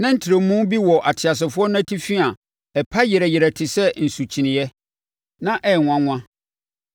Na ntrɛmu bi wɔ ateasefoɔ no atifi a ɛpa yerɛyerɛ te sɛ nsukyeneeɛ, na ɛyɛ nwanwa.